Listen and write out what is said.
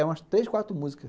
É umas três, quatro músicas.